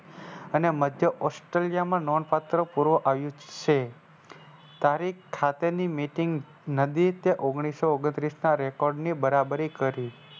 અને મધ્ય Australia માં નોન પાત્ર પૂર્વ આવ્યું છે. તારીખ સાથેની Meeting નદી તે ઓગણીસો ઓગણત્રીસના Record ની બરાબરી કરી.